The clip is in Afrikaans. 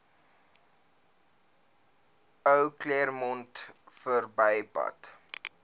ou claremont verbypad